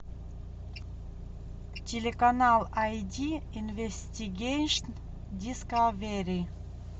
телеканал ай ди инвестигейшн дискавери